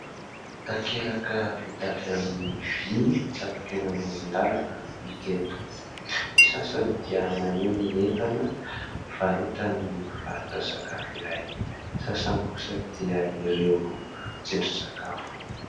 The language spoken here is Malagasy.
Takelaka vita avy amin'ny vy mitsatoka eny amoron-dàlana no hita eto, ny sasany dia maneho ny entana varotan'ny mpivarotra sakafo iray, ny sasany kosa dia ireo tsindrin-tsakafo.